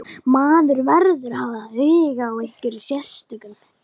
Maður verður að hafa áhuga á einhverjum sérstökum.